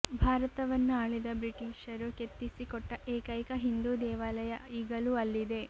ಭಾರತವನ್ನು ಆಳಿದ ಬ್ರಿಟೀಷರು ಕೆತ್ತಿಸಿ ಕೊಟ್ಟ ಏಕೈಕ ಹಿಂದೂ ದೇವಾಲಯ ಈಗಲೂ ಅಲ್ಲಿದೆ